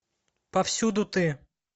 повсюду ты